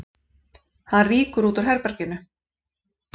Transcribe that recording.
Hann rýkur út úr herberginu.